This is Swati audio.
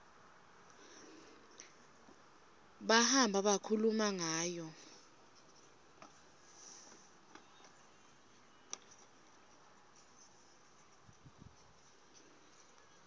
bahamba bakhuluma ngayo